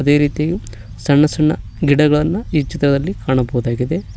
ಅದೇ ರೀತಿ ಸಣ್ಣ ಸಣ್ಣ ಗಿಡಗಳು ಈ ಚಿತ್ರದಲ್ಲಿ ಕಾಣಬಹುದಾಗಿದೆ.